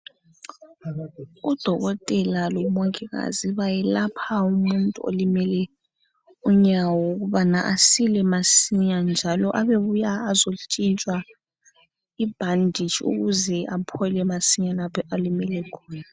Udokotela lomongikazi bayelapha umuntu olimele unyawo ukubana asile masinya njalo abebuya azotshintshwa ibhanditshi ukuze aphole masinya lapho alimele khona.